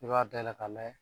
I b'a dayɛlɛ k'a lajɛ